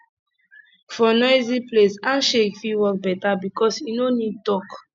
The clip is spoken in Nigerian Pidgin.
for noisy place handshake fit work better because e no need talk